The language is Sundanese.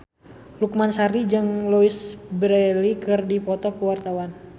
Lukman Sardi jeung Louise Brealey keur dipoto ku wartawan